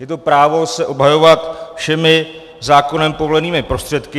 Je to právo se obhajovat všemi zákonem povolenými prostředky.